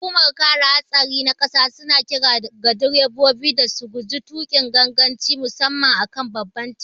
Hukumar kare hatsari ta ƙasa suna kira ga direbobi da su guji tukin ganganci musamman a kan babban titi.